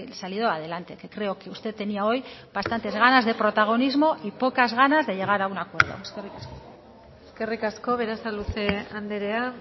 salido adelante que creo que usted tenía hoy bastantes ganas de protagonismo y pocas ganas de llegar a un acuerdo eskerrik asko eskerrik asko berasaluze andrea